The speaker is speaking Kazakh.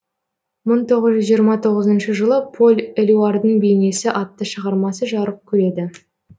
мың тоғыз жүз жиырма тоғызыншы жылы поль элюардың бейнесі атты шығармасы жарық көреді